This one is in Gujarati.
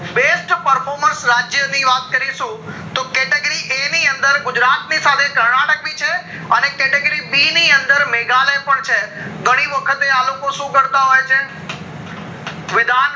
best performance રાજ્ય ની વાત લારીશું તો category A ની અંદર ગુજરાત નીસાથે કર્નાટક ભી છે અને category B ની અંદર મેઘાલય પણ છે ઘણી વખતે આ લોકો શું કરતા હોય છે વિધાન